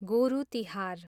गोरु तिहार